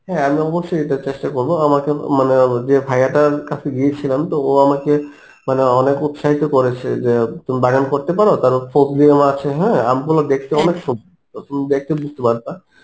হ্যাঁ আমি অবশ্যই এটা চেষ্টা করবো আমাকে মানে আমি যে ভাইয়াটার কাছে গিয়েছিলাম তো ও আমাকে মানে অনেক উৎসাহিত করেছে যে তুমি বাগান করতে পারো তাহলে ফজলি আম আছে হ্যাঁ, আম গুলো দেখতে অনেক সুন্দর তুমি দেখতেও যেতে পারত৷